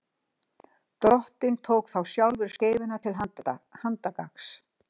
Drottinn tók þá sjálfur skeifuna til handargagns.